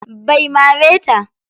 Bai mare ta.